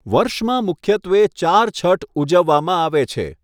વર્ષમાં મુખ્યત્વે ચાર છઠ ઉજવવામાં આવે છે.